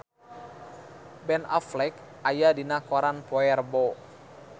Ben Affleck aya dina koran poe Rebo